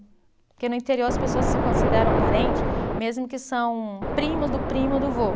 Porque no interior as pessoas se consideram parente, mesmo que são primos do primo do vô.